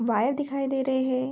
Wire दिखाई दे रहे हैं।